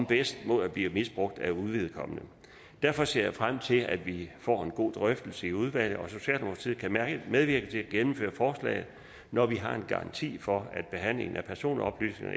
bedst mod at blive misbrugt af uvedkommende derfor ser jeg frem til at vi får en god drøftelse i udvalget og socialdemokratiet kan medvirke til at gennemføre forslaget når vi har garanti for at behandlingen af personoplysninger